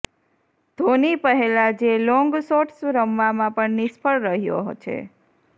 ધોની પહેલાં જે long shots રમવામાં પણ નિષ્ફળ રહ્યો છે